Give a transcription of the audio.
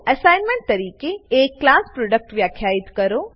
assignment તરીકે એક class product વ્યાખ્યિત કરો